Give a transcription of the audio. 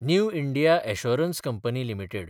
new India Assurance Company limited